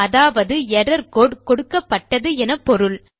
அதாவது error code கொடுக்கப்பட்டது என பொருள்